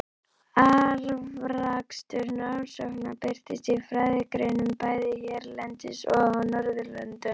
Afrakstur rannsóknanna birtist í fræðigreinum bæði hérlendis og á Norðurlöndunum.